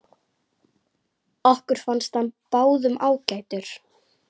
Okkur fannst hann báðum ágætur.